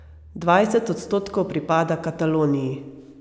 Dvajset odstotkov pripada Kataloniji.